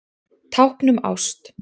Tákn um ást